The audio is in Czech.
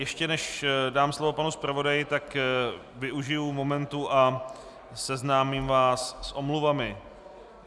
Ještě než dám slovo panu zpravodaji, tak využiji momentu a seznámím vás s omluvami.